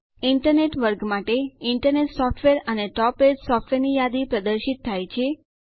internet વર્ગ માટે internet software અને ટોપ રેટ સોફ્ટવેર ની યાદી પ્રદર્શિત થાય છે